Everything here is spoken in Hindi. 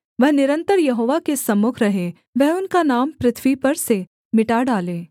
वह निरन्तर यहोवा के सम्मुख रहे वह उनका नाम पृथ्वी पर से मिटे